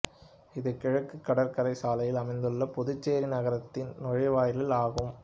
இது கிழக்கு கடற்கரை சாலையில் அமைந்துள்ள புதுச்சேரி நகரத்தின் நுழைவாயில் ஆகும்